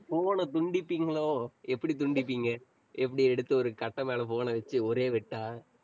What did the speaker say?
phone அ துண்டிப்பீங்களோ? எப்படி துண்டிப்பீங்க? எப்படி எடுத்து ஒரு கட்டை மேலே phone அ வெச்சு ஒரே வெட்டா